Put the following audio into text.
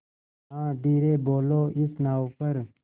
हाँ धीरे बोलो इस नाव पर